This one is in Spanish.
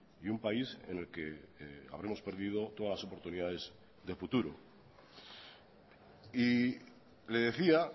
y un país en el que habremos perdido todas las oportunidades de futuro y le decía